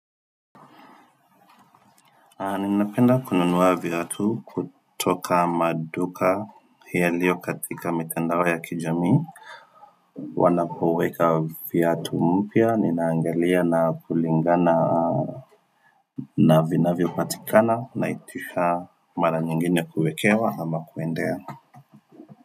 Ninapenda kununua viatu kutoka maduka yaliyo katika mitandao ya kijamii Wanapoweka viatu mpya, ninaangalia na kulingana na vinavyopatikana, naitisha mara nyingine kuekewa ama kuendea.